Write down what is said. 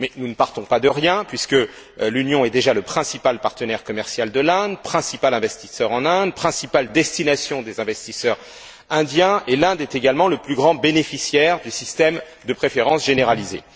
Mais nous ne partons pas de rien puisque l'Union est déjà le principal partenaire commercial de l'Inde, le principal investisseur en Inde, la principale destination des investisseurs indiens, et l'Inde est également le plus grand bénéficiaire du système de préférences généralisées.